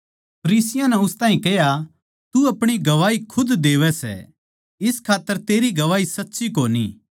फरीसियाँ नै उस ताहीं कह्या तू अपणी गवाही खुद देवै सै इस खात्तर तेरी गवाही सच्ची कोनी